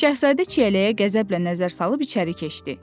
Şahzadə çiyələyə qəzəblə nəzər salıb içəri keçdi.